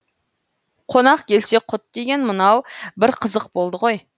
қонақ келсе құт деген мынау бір қызық болды ғой